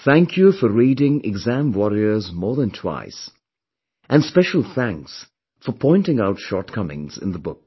Thank you for reading Exam Warriors more than twice and special thanks for pointing out shortcomings in the book